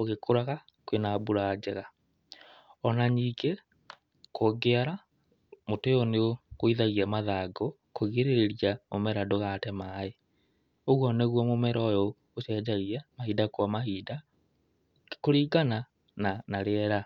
ũgĩkũraga, kwĩna mbura njega. Ona nyingĩ, kũngĩara, mũtĩ ũyũ nĩ ũgũithagia mathangũ, kwĩgirĩrĩria mũmera ndũgate maĩ. Ũguo nĩguo mũmera ũyũ ũcenjagia mahinda kwa mahinda kũringana na rĩera.